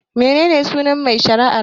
Mene ne sunan mai shari'ar?